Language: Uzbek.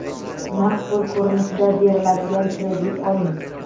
naqd pul ko‘rinishda beriladigan kredit oling.